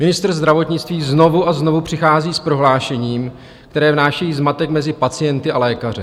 Ministr zdravotnictví znovu a znovu přichází s prohlášením, které vnáší zmatek mezi pacienty a lékaře.